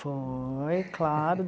Foi, claro.